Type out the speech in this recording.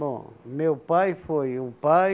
Bom, meu pai foi um pai,